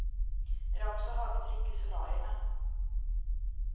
Det är också högtryck i solarierna.